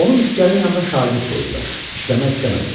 Onu miskərin yanına şagird qoydular, işləmək istəmədi.